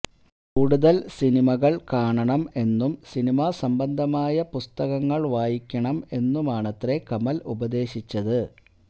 കൂടുതല് സിനിമകള് കാണണം എന്നും സിനിമാ സംബന്ധമായ പുസ്തകങ്ങള് വായിക്കണം എന്നുമാണത്രെ കമല് ഉപദേശിച്ചത്